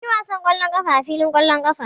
Mun yi wasan ƙwallon ƙafa a filin ƙwallon ƙafa.